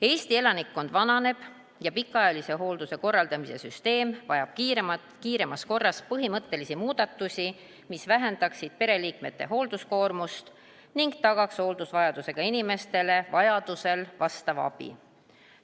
Eesti elanikkond vananeb ja pikaajalise hoolduse korraldamise süsteem vajab kiiremas korras põhimõttelisi muudatusi, mis vähendaksid pereliikmete hoolduskoormust ning tagaksid hooldusvajadusega inimestele vastava abi.